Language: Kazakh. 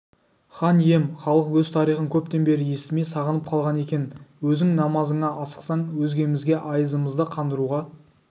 хан ием халық өз тарихын көптен бері естімей сағынып қалған екен өзің намазыңа асықсаң өзгемізге айызымызды қандыруға